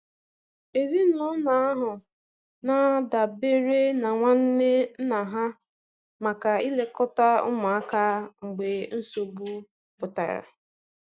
Ezinụlọ ahụ na-adabere na nwanne nna ha maka ilekọta ụmụaka mgbe nsogbu pụtara.